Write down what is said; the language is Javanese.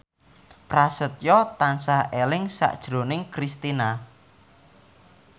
Prasetyo tansah eling sakjroning Kristina